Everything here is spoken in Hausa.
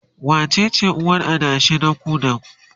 wacece uwar adashin na ku da?